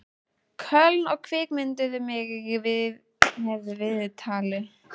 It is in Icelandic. Köln og kvikmynduðu mig með viðtali.